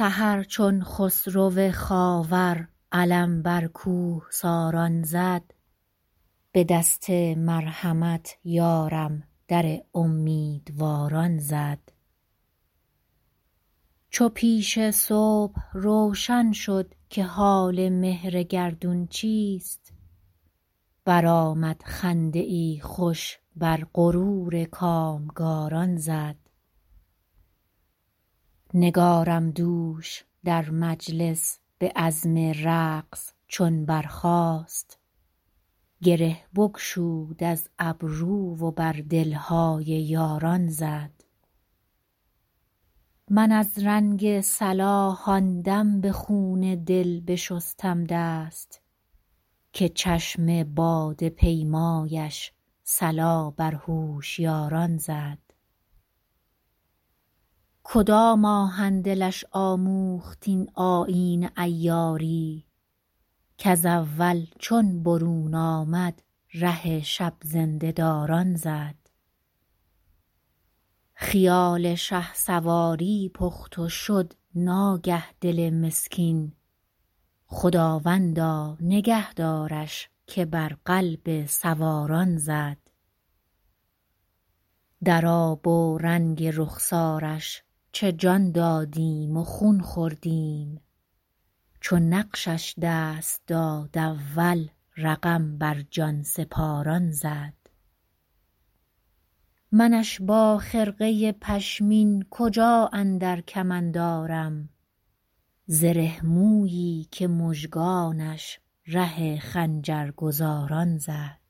سحر چون خسرو خاور علم بر کوهساران زد به دست مرحمت یارم در امیدواران زد چو پیش صبح روشن شد که حال مهر گردون چیست برآمد خنده ای خوش بر غرور کامگاران زد نگارم دوش در مجلس به عزم رقص چون برخاست گره بگشود از گیسو و بر دل های یاران زد من از رنگ صلاح آن دم به خون دل بشستم دست که چشم باده پیمایش صلا بر هوشیاران زد کدام آهن دلش آموخت این آیین عیاری کز اول چون برون آمد ره شب زنده داران زد خیال شهسواری پخت و شد ناگه دل مسکین خداوندا نگه دارش که بر قلب سواران زد در آب و رنگ رخسارش چه جان دادیم و خون خوردیم چو نقشش دست داد اول رقم بر جان سپاران زد منش با خرقه پشمین کجا اندر کمند آرم زره مویی که مژگانش ره خنجرگزاران زد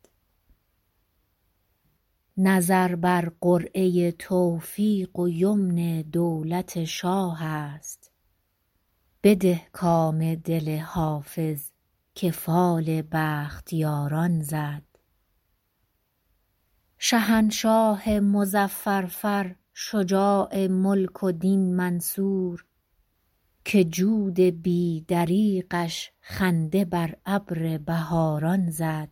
نظر بر قرعه توفیق و یمن دولت شاه است بده کام دل حافظ که فال بختیاران زد شهنشاه مظفر فر شجاع ملک و دین منصور که جود بی دریغش خنده بر ابر بهاران زد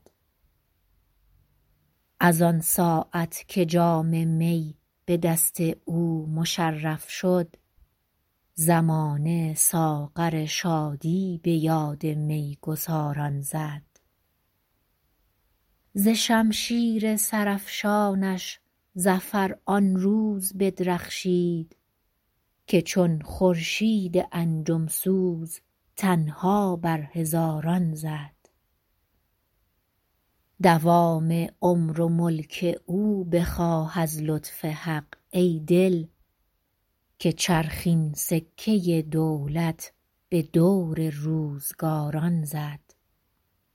از آن ساعت که جام می به دست او مشرف شد زمانه ساغر شادی به یاد می گساران زد ز شمشیر سرافشانش ظفر آن روز بدرخشید که چون خورشید انجم سوز تنها بر هزاران زد دوام عمر و ملک او بخواه از لطف حق ای دل که چرخ این سکه دولت به دور روزگاران زد